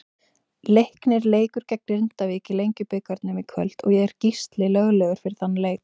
Leiknir leikur gegn Grindavík í Lengjubikarnum í kvöld og er Gísli löglegur fyrir þann leik.